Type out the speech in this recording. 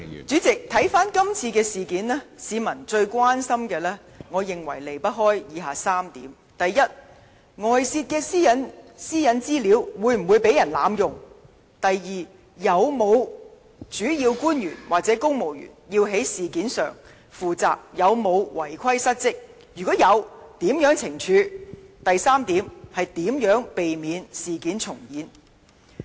主席，看回今次事件，我認為市民最關心的事情離不開以下3點：第一，是外泄的私隱資料會否被人濫用；第二，有否主要官員或公務員要就事件負責，他們有否違規失職，若有，會如何懲處？及第三，就是如何避免事件重演。